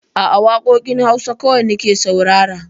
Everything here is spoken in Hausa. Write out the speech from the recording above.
A'a, waƙoƙin Hausa kawai nake saurara